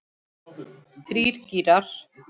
Þrír gírar.